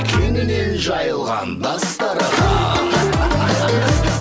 кеңінен жайылған дастархан